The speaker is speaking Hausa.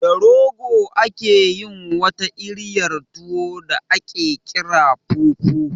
Da rogo ake yin wata iriyar tuwo da aƙe ƙira fufu